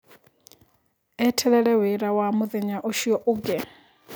Eterere wĩra wa mũthenya ũcio ũngĩ.